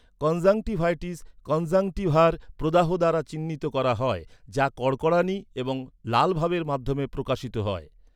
Conjunctivitis কনজাংক্টিভার প্রদাহ দ্বারা চিহ্নিত করা হয়, যা কড়কড়ানি এবং লালভাবের মাধ্যমে প্রকাশিত হয়।